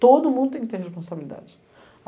Todo mundo tem que ter responsabilidade.